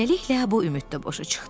Beləliklə bu ümiddə boşa çıxdı.